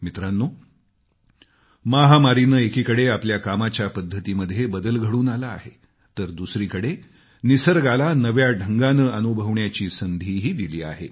मित्रांनो महामारीने एकीकडे आपल्या कामाच्या पद्धतीमध्ये बदल घडून आला आहे तर दुसरीकडे निसर्गाला नव्या ढंगानं अनुभवण्याची संधीही दिली आहे